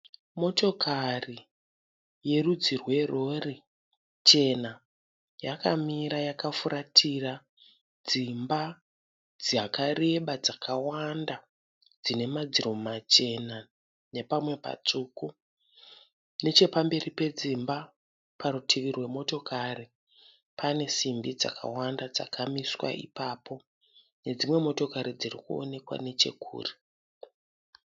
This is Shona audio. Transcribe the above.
Motokari yerudzi rwe rori chena. Yakamira yakafuratira dzimba dzakareba dzakawanda dzine madziro machena nepamwe patsvuku . Nechepamberi pedzimba parutivi rwemotokari panesimbi dzakawanda dzakamiswa ipapo nedzimwe motokari dzirikuonekwa nechekure.